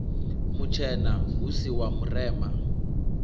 mutshena hu si wa murema